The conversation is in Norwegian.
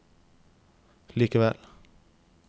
likevel